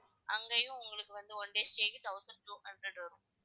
அங்கேயும் உங்களுக்கும் வந்து one day stay க்கு thousand two hundred வரும்